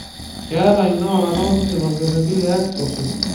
keeta ina orata osesen orkereti le X osuj.